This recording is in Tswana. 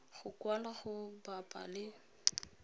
go kwalwa go bapa le